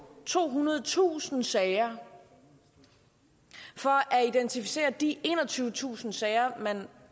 tohundredetusind sager for at identificere de enogtyvetusind sager man